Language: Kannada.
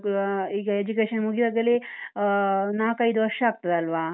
ಈಗ education ಮುಗಿವಾಗಲೇ ಅಹ್ ನಾಕೈದು ವರ್ಷ ಆಗ್ತದಲ್ವಾ?